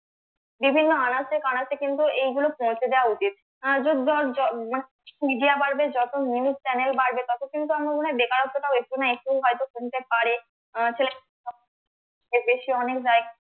বিভিন্ন আনাচে কানাচে কিন্তু এইগুলো পৌঁছে দেওয়া উচিত media বাড়বে যত news channel বাড়বে তত কিন্তু আমার মনে হয় বেকারত্বটাও একটু না একটু হয়তো কমতে পারে এর বেশি অনেক